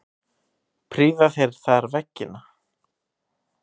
Prýða þeir þar veggina.